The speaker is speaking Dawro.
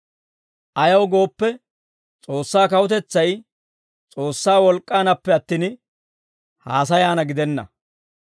Ayaw gooppe, S'oossaa kawutetsay S'oossaa wolk'k'aanappe attin, haasayaana gidenna.